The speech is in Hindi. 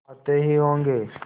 आते ही होंगे